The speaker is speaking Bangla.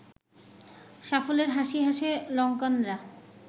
সাফল্যের হাসি হাসে লঙ্কানরা